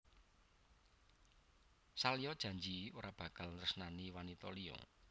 Salya janji ora bakal nresnani wanita liya